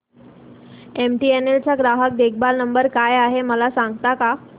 MTNL चा ग्राहक देखभाल नंबर काय आहे मला सांगता का